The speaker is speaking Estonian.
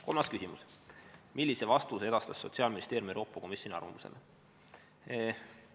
Kolmas küsimus: "Millise vastuse edastas Sotsiaalministeerium Euroopa Komisjoni arvamusele?